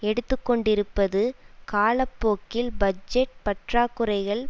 எடுத்துக்கொண்டிருப்பது காலப்போக்கில் பட்ஜெட் பற்றாக்குறைகள்